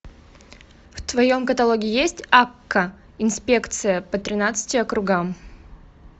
в твоем каталоге есть акка инспекция по тринадцати округам